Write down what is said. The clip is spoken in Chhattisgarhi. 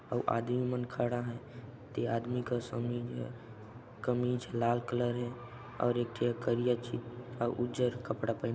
ओ आदमी मन खड़ा है ते आदमी का समीज़ है कमीज ह लाल कलर हे और एक ठ करिया ठी और उज्जर कपड़ा पहन --